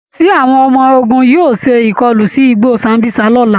Ṣé àwọn ọmọ ogun yóò ṣe ìkọlu sí igbó Sambísa lọ́la?